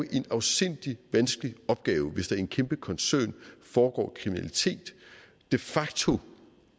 er en afsindig vanskelig opgave hvis der i en kæmpe koncern foregår kriminalitet de facto